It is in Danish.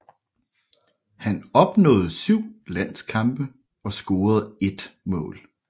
Han opnåede 7 landskampe og scorede 1 mål